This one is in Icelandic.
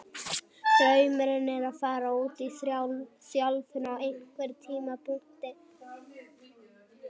Draumurinn er að fara út í þjálfun á einhverjum tímapunkti.